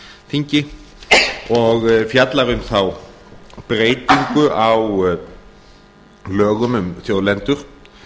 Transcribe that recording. þingi og fjallar um þá breytingu á lögum um þjóðlendur